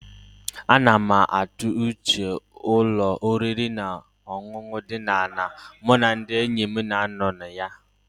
A na m atụ uche ụlọ oriri na ọṅụṅụ dị ọnụ ala mụ na ndị enyi m na-anọ na ya